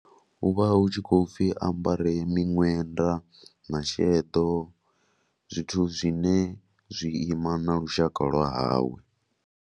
Hu vha hu tshi khou pfhi a ambare miṅwenda na sheḓo zwithu zwine zwi ima na lushaka lwa hawe.